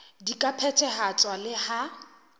di ka phethahatswa le ha